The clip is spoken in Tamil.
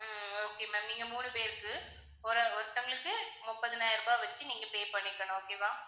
உம் okay ma'am நீங்க மூணு பேருக்கு ஒரு~ ஒருத்தங்களுக்கு முப்பதாயிரம் ரூபாய் வச்சு நீங்க pay பண்ணிக்கணும். okay வா